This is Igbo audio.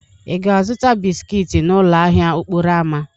Ị ga-azụta bisiki n'ụlọ ahịa okporo ámá?